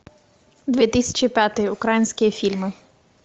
две тысячи пятый украинские фильмы